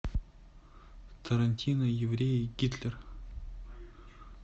тарантино евреи гитлер